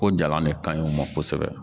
Ko jalan ne ka ɲi u ma kosɛbɛ